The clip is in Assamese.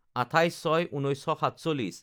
২৮/০৬/১৯৪৭